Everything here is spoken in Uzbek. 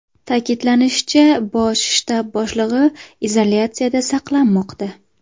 Ta’kidlanishicha, bosh shtab boshlig‘i izolyatsiyada saqlanmoqda.